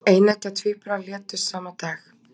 Eineggja tvíburar létust sama dag